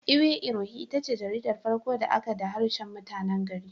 Iwe irohin itace jaridar farko da aka da harshen mutanen gari.